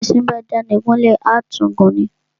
Bí éṣin bá dáni gún lè, à tún gùn ni.